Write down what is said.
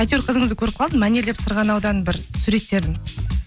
әйтеуір қызыңызды көріп қалдым мәнерлеп сырғанаудан бір суреттерін